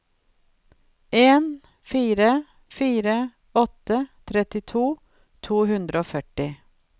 en fire fire åtte trettitre to hundre og førti